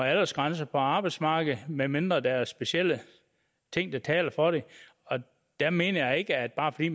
aldersgrænse på arbejdsmarkedet medmindre der er specielle ting der taler for det jeg mener ikke at bare fordi